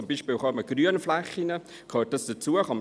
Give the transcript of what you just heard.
Zum Beispiel Grünflächen: Gehört das dazu?